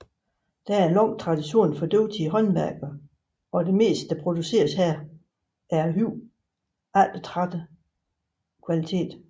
Der er lang tradition for dygtige håndværkere og det meste der produceres her er af høj eftertragtet kvalitet